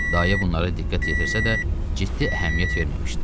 Dayə bunlara diqqət yetirsə də, ciddi əhəmiyyət verməmişdi.